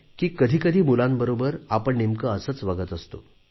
कधी कधी मुलांबरोबर आपण नेमके असेच वागत असतो